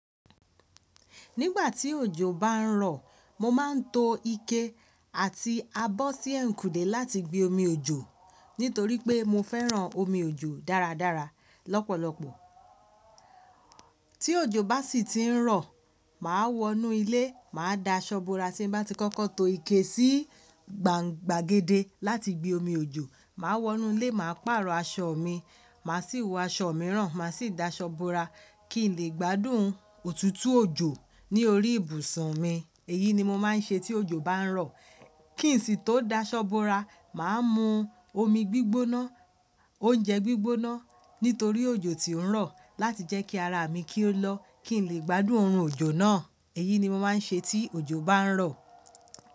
Nígbà tí òjò bá ń rọ̀, mo máa ń to ike àti abọ́ sí ẹ̀yiń kúndè láti gbe omi òjò nítorí pé mo fẹ́ràn omi òjò dáradára lọ́pọ̀lọpọ̀. Tí òjò bá sì ti ń rọ̀, màá wọnú ilé, màá da aṣọ búra tí ń bá ti kọ́kọ́ to ike sí gbangbàgede láti gbe omi òjò, màá wọnú ilé, màá pàrọ̀ aṣọ mi, màá sì wọ aṣọ mìíràn, màá sì da aṣọ búra kí n lè gbádùn òtútù òjò ní orí ìbùsùn mi. Èyí ni mo máa ń ṣe tí òjò bá ń rọ̀. Kí n sì tó da aṣọ bo ara, màá mu omi gbígbóná, oúnjẹ gbígbóná nítorí òjò ti ń rọ̀ láti jẹ́ kí ara mi kí ó lọ, kí n lè gbádùn oorun òjò náà. Èyí ni mo máa ń ṣe tí òjò bá ń rọ̀.